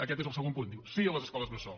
aquest és el segon punt diu sí a les escoles bressol